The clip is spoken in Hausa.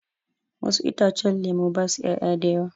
Wasu itacen lemu basu 'ya'ya a da yawa.